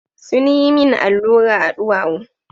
Sun yi min allura a duwawu.